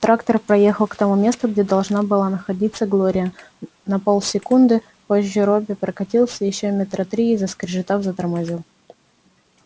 трактор проехал к тому месту где должна была находиться глория на полсекунды позже робби прокатился ещё метра три и заскрежетав затормозил